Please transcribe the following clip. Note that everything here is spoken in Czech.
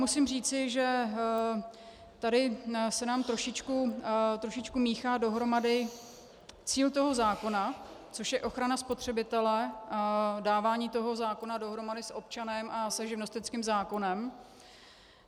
Musím říci, že tady se nám trošičku míchá dohromady cíl toho zákona, což je ochrana spotřebitele, dávání toho zákona dohromady s občanem a se živnostenským zákonem.